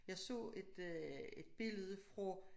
Jeg så et øh et billede fra